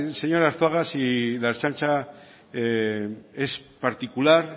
señor arzuaga si la ertzaintza es particular